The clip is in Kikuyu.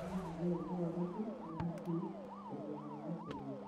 Arahanania gwĩka mathabu na hakiri na ihenya rĩa ateng'eri.